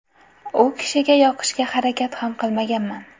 U kishiga yoqishga harakat ham qilmaganman.